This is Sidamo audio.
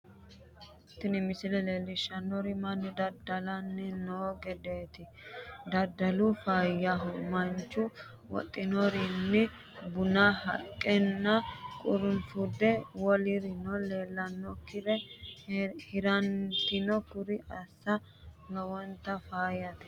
Tini missile leellishshannori mannu dada'lanni noo gedeetj dadalu faayyaho manchu wodhinorini buna baaqeela qurunfude wolirino leellannoikkiri heerannaati kuri assa lowonta faayate